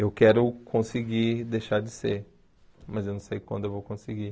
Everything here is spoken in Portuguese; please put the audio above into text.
Eu quero conseguir deixar de ser, mas eu não sei quando eu vou conseguir.